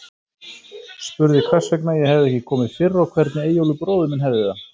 Spurði hvers vegna ég hefði ekki komið fyrr, og hvernig Eyjólfur bróðir minn hefði það.